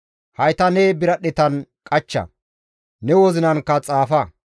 Hayta ne biradhdhetan qachcha; ne wozinankka xaafa.